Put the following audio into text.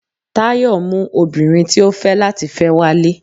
Tayo mú obinrín tí o fe lati fẹ walé